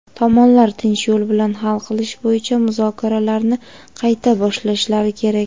Tomonlar tinch yo‘l bilan hal qilish bo‘yicha muzokaralarni qayta boshlashlari kerak.